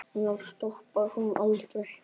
Já, stoppar hún aldrei?